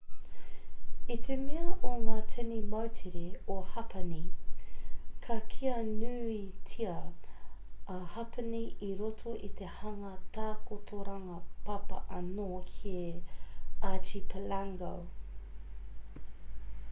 i te mea o ngā tini moutere o hapani ka kīa nuitia a hapani i roto i te hanga takotoranga papa anō he archipelago